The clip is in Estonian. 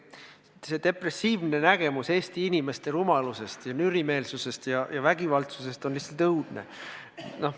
No see depressiivne nägemus Eesti inimeste rumalusest ja nürimeelsusest ja vägivaldsusest on lihtsalt õudne.